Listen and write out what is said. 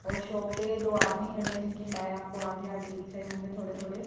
और शो पे दो आदमी खड़े हैं जिनके पर आपको आधे आधे दिख रहे होंगे थोड़े थोड़े--